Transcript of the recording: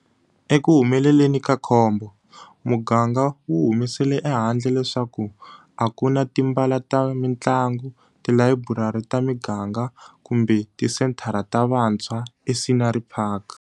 Ekuhumeleleni ka khombo, muganga wu humesele ehandle leswaku a ku na timbala ta mitlangu, tilayiburari ta miganga kumbe tisenthara ta vatshwa eScenery Park.